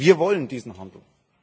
Wir wollen diesen Handel.